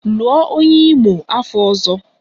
Lụọ onye Imo afọ ọzọ!